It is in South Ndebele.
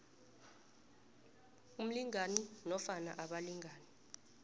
umlingani nofana abalingani